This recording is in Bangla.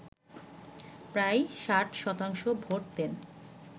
প্রায় ৬০ শতাংশ ভোট দেন